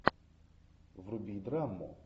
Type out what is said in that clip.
вруби драму